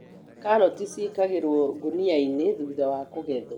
Karati ciĩkagĩrwo ngũniainĩ thuthawa kũgethwo